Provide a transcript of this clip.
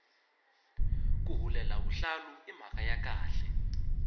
ku hulela vuhlalu i mhaka ya khale